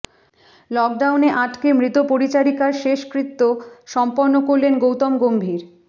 লকডাউনে আটকে মৃত পরিচারিকার শেষকৃত্য সম্পন্ন করলেন গৌতম গম্ভীর